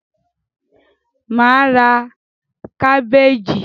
Mà á ra kábèèjì.